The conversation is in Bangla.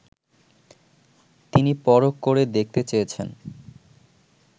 তিনি পরখ করে দেখতে চেয়েছেন